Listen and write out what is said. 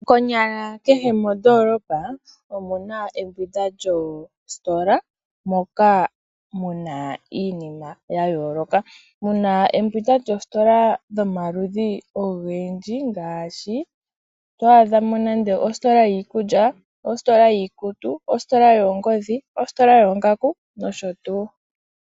Konyala kehe mondoolopa, omuna embwinda lyoositola, moka muna iinima ya yooloka. Muna embwindwa lyoositola dhomaludhi ogendji, ngaashi ositola yiikulya, ositola yiikutu, ositola yoongodhi, ositola yoongaku, nosho tuu.